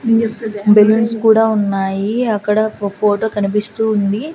Balloons కూడా ఉన్నాయి అక్కడ ఒ ఫోటో కనిపిస్తూ ఉంది.